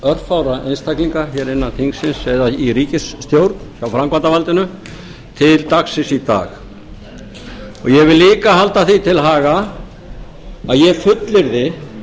örfárra einstaklinga hér innan þingsins eða í ríkisstjórn hjá framkvæmdarvaldinu til dagsins í dag ég vil líka halda því til haga að ég fullyrði